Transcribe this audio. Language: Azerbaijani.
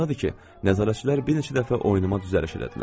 Yadımdadır ki, nəzarətçilər bir neçə dəfə oyunuma düzəliş elədilər.